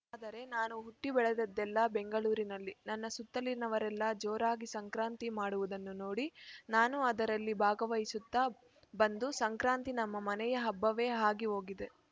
ಆದರೆ ನಾನು ಹುಟ್ಟಿಬೆಳೆದದ್ದೆಲ್ಲಾ ಬೆಂಗಳೂರಿನಲ್ಲಿ ನನ್ನ ಸುತ್ತಲಿನವರೆಲ್ಲಾ ಜೋರಾಗಿ ಸಂಕ್ರಾಂತಿ ಮಾಡುವುದನ್ನು ನೋಡಿ ನಾನು ಅದರಲ್ಲಿ ಭಾಗವಹಿಸುತ್ತಾ ಬಂದು ಸಂಕ್ರಾಂತಿ ನಮ್ಮ ಮನೆಯ ಹಬ್ಬವೇ ಆಗಿ ಹೋಗಿದೆ